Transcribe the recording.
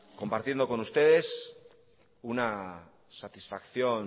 compartiendo con ustedes una satisfacción